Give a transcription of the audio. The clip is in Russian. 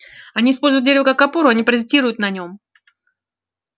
они используют дерево как опору а не паразитируют на нем